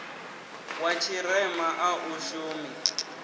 wa tshirema a u shumi